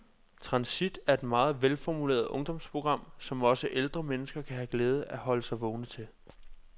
Transit er et meget velformuleret ungdomsprogram, som også ældre mennesker kan have glæde af at holde sig vågne til.